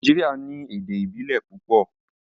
Nàìjíríà ní èdè ìbílè púpọ.